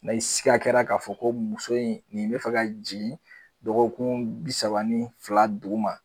N' i sika kɛra k'a fɔ ko muso in nin mi fɛ ka jigin, dɔkɔkun bi saba ni fila duguma